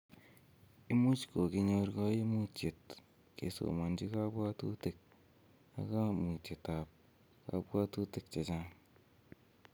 Imuch kogikonyor koimutietab kesomonchi kobwotutik ak koumutitab kobwotutik chechang